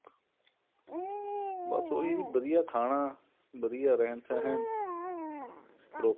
ਬਸ ਉਹੀ ਵਧੀਆ ਖਾਣਾ ਵਧੀਆ ਰਹਿਣ ਸਹਿਣ proper